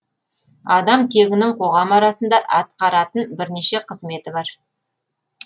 адам тегінің қоғам арасында атқаратын бірнеше қызметі бар